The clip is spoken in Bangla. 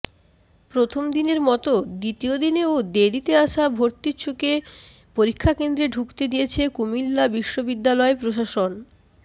প্রথমদিনের মতো দ্বিতীয় দিনেও দেরিতে আসা ভর্তিচ্ছুকে পরীক্ষা কেন্দ্রে ঢুকতে দিয়েছে কুমিল্লা বিশ্ববিদ্যালয় প্রশাসন